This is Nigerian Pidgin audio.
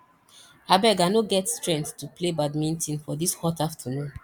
abeg i no get strength to play badminton for dis hot afternoon